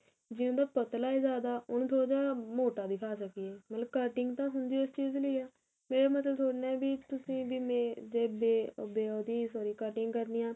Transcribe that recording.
ਜੇ ਉਹਦਾ ਪਤਲਾ ਜਿਆਦਾ ਉਹਨੂੰ ਥੋੜਾ ਜਾ ਮੋਟਾ ਦਿੱਖਾ ਸਕੀਏ ਮਤਲਬ cutting ਤਾਂ ਹੁੰਦੀ ਓ ਇਸ ਚੀਜ ਲਈ ਏ ਇਹ ਮਤਲਬ ਥੋੜੀ ਨਾ ਵੀ ਤੁਸੀਂ ਵੀ ਮੈ ਜੇ ਬੇ ਬੇ ਉਹਦੀ sorry cutting ਕਰਨੀ ਏ